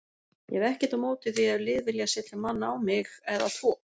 Ég hef ekkert á móti því ef lið vilja setja mann á mig eða tvo.